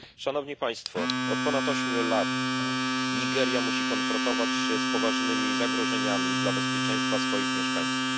Od ponad ośmiu lat Nigeria musi konfrontować się z poważnymi zagrożeniami dla bezpieczeństwa swoich mieszkańców.